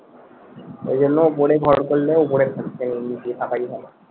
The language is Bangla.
এর জন্য ওপরে ঘর করলে ওপরে থাকতে হয়, নিচে থাকা যাবেনা